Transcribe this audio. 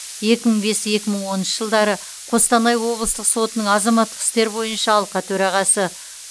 екі мың бес екі мың оныншы жылдары қостанай облыстық сотының азаматтық істер бойынша алқа төрағасы